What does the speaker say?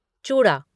चूड़ा